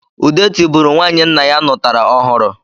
Ude tibụrụ nwanyị nna ya nụtara ọhụrụ